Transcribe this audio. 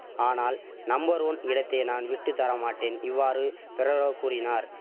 ஆனால் number one இடத்தை நான் விட்டு தரமாட்டேன் இவ்வாறு பெரரோவ் கூறினார்